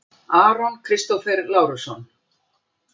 Aron Kristófer Lárusson